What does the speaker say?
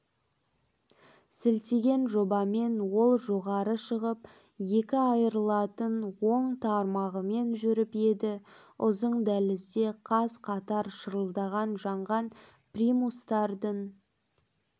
сілтеген жобамен ол жоғары шығып екі айрылатын оң тармағымен жүріп еді ұзын дәлізде қаз-қатар шарылдап жанған примустардың